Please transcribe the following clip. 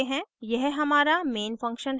यह हमारा main function है